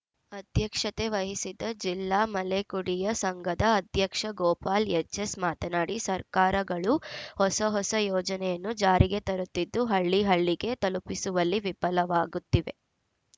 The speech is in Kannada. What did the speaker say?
ಅಧ್ಯಕ್ಷತೆ ವಹಿಸಿದ್ದ ಜಿಲ್ಲಾ ಮಲೆಕುಡಿಯ ಸಂಘದ ಅಧ್ಯಕ್ಷ ಗೋಪಾಲ್‌ ಎಚ್‌ಎಸ್‌ ಮಾತನಾಡಿ ಸರ್ಕಾರಗಳು ಹೊಸಹೊಸ ಯೋಜನೆಯನ್ನು ಜಾರಿಗೆ ತರುತ್ತಿದ್ದು ಹಳ್ಳಿಹಳ್ಳಿಗೆ ತಲುಪಿಸುವಲ್ಲಿ ವಿಫಲವಾಗುತ್ತಿವೆ